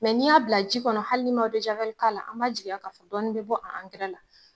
n'i y'a bila ji kɔnɔ hali n'i ma, k'a la, an ma jigiya k'a fɔ ko dɔnni mi bɔ a la